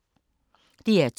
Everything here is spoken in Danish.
DR2